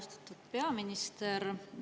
Austatud peaminister!